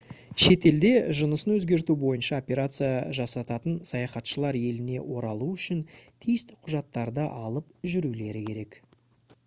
шетелде жынысын өзгерту бойынша операция жасататын саяхатшылар еліне оралуы үшін тиісті құжаттарды алып жүрулері керек